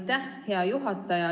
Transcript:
Aitäh, hea juhataja!